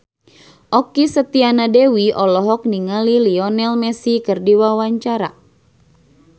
Okky Setiana Dewi olohok ningali Lionel Messi keur diwawancara